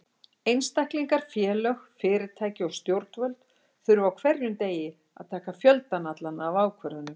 Einstaklingar, félög, fyrirtæki og stjórnvöld þurfa á hverjum degi að taka fjöldann allan af ákvörðunum.